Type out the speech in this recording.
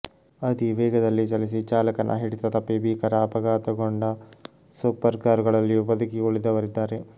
ಅತಿವೇಗದಲ್ಲಿ ಚಲಿಸಿ ಚಾಲಕನ ಹಿಡಿತ ತಪ್ಪಿ ಭೀಕರ ಅಪಘಾತಗೊಂಡ ಸೂಪರ್ ಕಾರುಗಳಲ್ಲಿಯೂ ಬದುಕಿ ಉಳಿದವರಿದ್ದಾರೆ